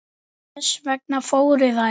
Þess vegna fóru þær.